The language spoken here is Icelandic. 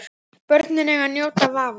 Börnin eiga að njóta vafans.